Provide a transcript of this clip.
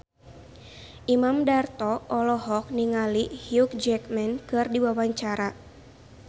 Imam Darto olohok ningali Hugh Jackman keur diwawancara